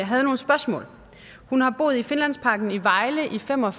havde nogle spørgsmål hun har boet i finlandsparken i vejle i fem og